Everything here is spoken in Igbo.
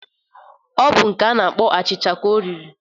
Ọ bụ nke a na-akpọ achịcha ka o riri